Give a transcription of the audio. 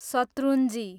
Shetrunji